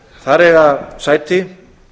þar eiga sæti